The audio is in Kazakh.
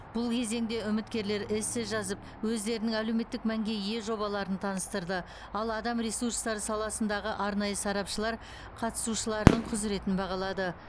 бұл кезеңде үміткерлер эссе жазып өздерінің әлеуметтік мәнге ие жобаларын таныстырды ал адам ресурстары саласындағы арнайы сарапшылар қатысушылардың құзыретін бағалады